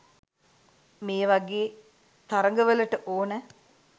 මේ වගේ තරගවලට ඕන